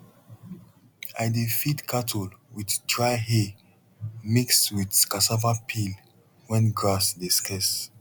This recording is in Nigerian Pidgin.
i dey feed cattle with dry hay mix with cassava peel when grass dey scarce